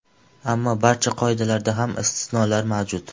Ammo barcha qoidalarda ham istisnolar mavjud.